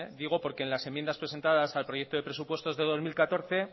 digo porque en las enmiendas presentadas al proyecto de presupuestos de dos mil catorce